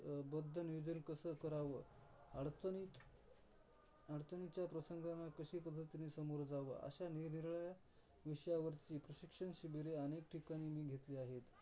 बोध नियोजन कस कराव अडचणीत अडचणीच्या प्रसंगाला कशी पध्दतीने समोर जावं अश्या निर्निराड्या विषयांवरती शिक्षण शिबिरे अनेक ठिकाणी मी घेतली आहेत.